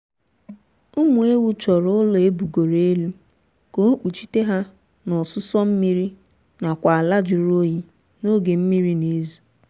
ụmụ ewu chọrọ ụlọ ebugoro elu ka ọ kpuchite ha na ọsụsọ mmiri nakwa ala jụrụ oyi n'oge mmiri na-ezo